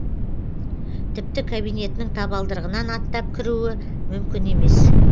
тіпті кабинетінің табалдырығынан аттап кіру мүмкін емес